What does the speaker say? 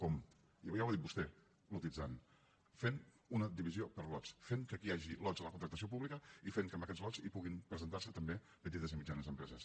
com ja ho ha dit vostè lotitzant fent una divisió per lots fent que aquí hi hagi lots en la contractació pública i fent que en aquests lots hi pugin presentar se també petites i mitjanes empreses